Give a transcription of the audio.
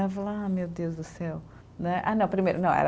Eu falava ah, meu Deus do céu. Não é, ah não, primeiro não era